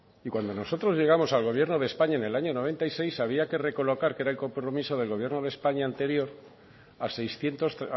cuando nosotros llegamos al gobierno de españa en el año mil novecientos noventa y seis había que recolocar que era el compromiso del gobierno de españa anterior a seiscientos